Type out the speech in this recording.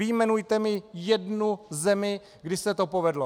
Vyjmenujte mi jednu zemi, kdy se to povedlo!